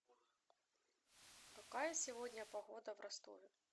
какая сегодня погода в ростове